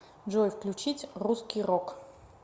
джой включить русский рок